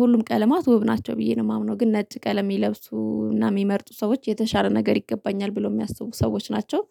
ሁሉም ቀለማት ውብ ናቸው ብዬ ነው የማምነው ግን ነጭ ቀለም የሚለብሱ እና የሚመርጡ ሰዎች የተሻለ ነገር ይገባኛል ብሎ የሚያስቡ ሰዎች ናቸው